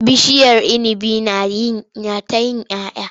Bishiyar inibi na ta yi 'ya 'ya.